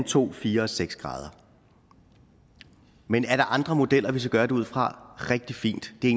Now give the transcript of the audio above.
to fire og seks grader men er der andre modeller vi skal gøre det ud fra er rigtig fint det er